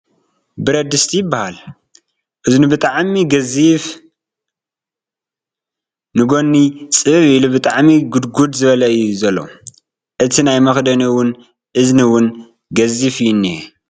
ብረት ድስቲ ይበሃል እዝኑ ብጣዕሚ ገዚፍ ንጎስኒ ፅብብ ኢሉ ብጣዕሚ ጉድጉድ ዝበለ እዩ ዘሎ፣ እቲ ናይ መኽደኑ'ውን እዝኒ 'ውን ገዚፍ እዩ እንሄ ።